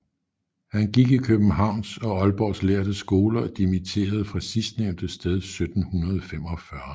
Han gik i Københavns og Aalborgs lærde skoler og dimitterede fra sidstnævnte sted 1745